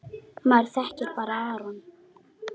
Maður þekkir bara Aron.